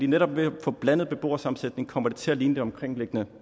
netop ved at få en blandet beboersammensætning kommer det til at ligne det omkringliggende